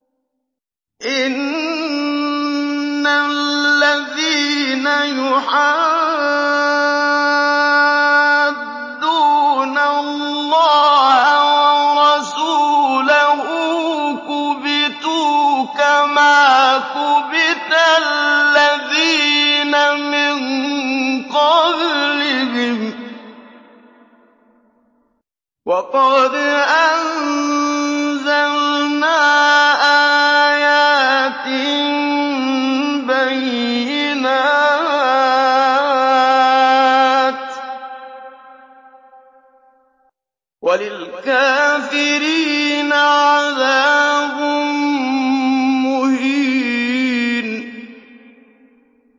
إِنَّ الَّذِينَ يُحَادُّونَ اللَّهَ وَرَسُولَهُ كُبِتُوا كَمَا كُبِتَ الَّذِينَ مِن قَبْلِهِمْ ۚ وَقَدْ أَنزَلْنَا آيَاتٍ بَيِّنَاتٍ ۚ وَلِلْكَافِرِينَ عَذَابٌ مُّهِينٌ